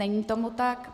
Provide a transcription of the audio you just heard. Není tomu tak.